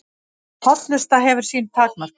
Hollusta hefur sín takmörk